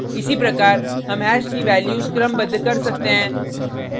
इसी प्रकार हम हैश की वैल्यूज़ क्रमबद्ध कर सकते हैं